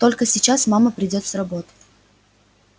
только сейчас мама придёт с работы